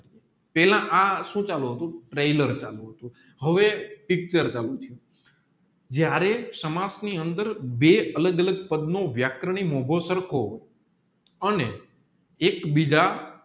પેલા આ સુ ચાલુ હતું ટ્રેલર ચાલુ હતું હવે આ picture ચાલુ થિયું જયારે સમાજ ની અંદર બે અલગ અલગ પદનો વ્યાકરની સરખો અને એક બીજ